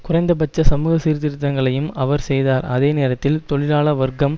குறைந்தபட்ச சமூக சீர்திருத்தங்களையும் அவர் செய்தார் அதே நேரத்தில் தொழிலாள வர்க்கம்